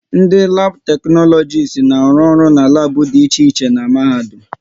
Ndị labu teknologisi na-arụ ọrụ n'labu dị iche iche n'mahadum